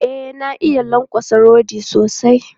E, na iya lankwatsa rodi sosai.